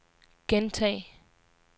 gentag